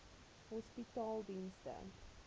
hospitaledienste